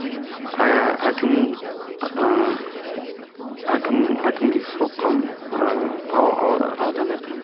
ыыы әкім ыыы әкім әкімге соққам аудан әкіміне